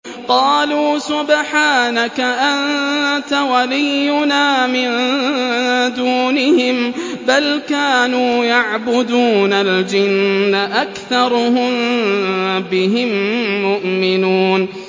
قَالُوا سُبْحَانَكَ أَنتَ وَلِيُّنَا مِن دُونِهِم ۖ بَلْ كَانُوا يَعْبُدُونَ الْجِنَّ ۖ أَكْثَرُهُم بِهِم مُّؤْمِنُونَ